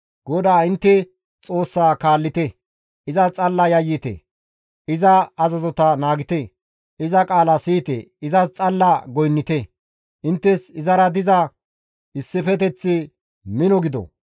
GODAA intte Xoossaa kaallite; izas xalla yayyite; iza azazota naagite; iza qaala siyite; izas xalla goynnite; inttes izara diza issifeteththi mino gido.